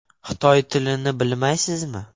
Xitoy tilini bilmaysizmi?